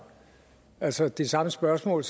men så er det samme spørgsmål